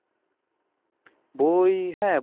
বই হ্যাঁ